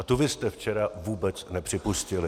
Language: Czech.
A tu vy jste včera vůbec nepřipustili.